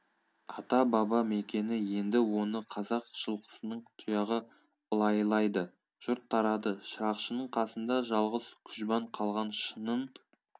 ата-баба мекені енді оны қазақ жылқысының тұяғы ылайлайды жұрт тарады шырақшының қасында жалғыз күжбан қалған шынын